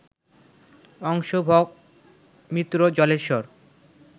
অংশ, ভগ, মিত্র, জলেশ্বর